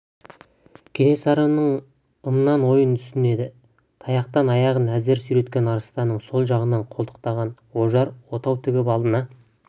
кенесарының ымынан ойын түсінеді таяқтан аяғын әзер сүйреткен арыстанның сол жағынан қолтықтаған ожар отау тігіп алдына